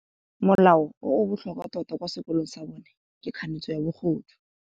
Molao o o botlhokwa tota kwa sekolong sa bone ke kganetsô ya bogodu.